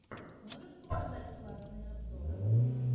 можешь показать классные обзоры